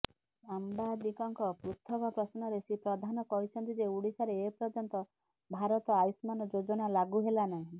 ସାମ୍ବାଦିକଙ୍କ ପୃଥକ ପ୍ରଶ୍ନରେ ଶ୍ରୀ ପ୍ରଧାନ କହିଛନ୍ତି ଯେ ଓଡିଶାରେ ଏପର୍ଯ୍ୟନ୍ତ ଭାରତ ଆୟୁଷ୍ମାନ ଯୋଜନା ଲାଗୁ ହେଲାନାହିଁ